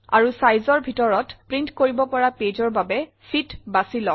আৰু Sizeৰ ভিতৰত প্ৰিণ্ট কৰিব পৰা pageৰ বাবে ফিট বাছি লওক